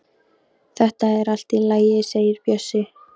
Þetta er allt í lagi segir Bjössi.